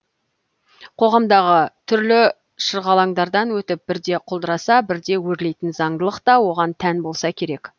қоғамдағы түрлі шырғалаңдардан өтіп бірде құлдыраса бірде өрлейтін заңдылық та оған тән болса керек